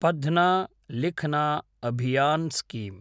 पध्न लिखन अभियान् स्कीम